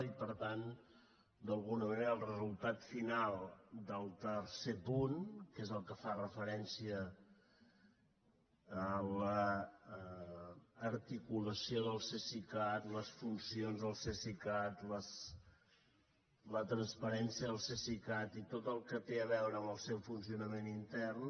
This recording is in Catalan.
i per tant d’alguna manera el resultat final del tercer punt que és el que fa referència a l’articulació del cesicat les funcions del cesicat la transparència del cesicat i tot el que té a veure amb el seu funcionament intern